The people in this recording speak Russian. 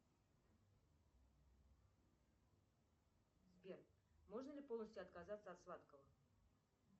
сбер можно ли полностью отказаться от сладкого